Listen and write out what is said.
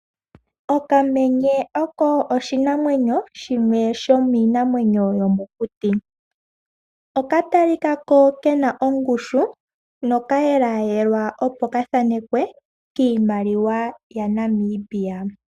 Okamenye oko oshinamwenyo, shimwe shomiinamwenyo yomokuti. Oka talikako kena ongushu, noka yelayelwa opo kathaanekwe kiimaliwa yaNamibia.